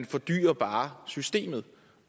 fordyrer bare systemet